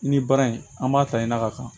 Ni baara in an b'a ta ɲina ka